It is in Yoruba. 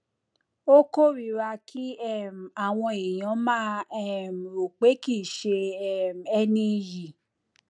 ó kórìíra kí um àwọn èèyàn máa um rò pé kìí ṣe um ẹni iyì